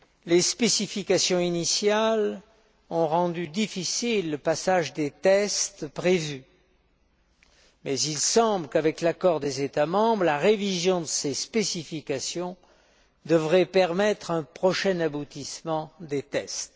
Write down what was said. Les spécifications initiales ont rendu difficile le passage des tests prévus, mais il semble qu'avec l'accord des États membres, la révision de ces spécifications devrait permettre un prochain aboutissement des tests.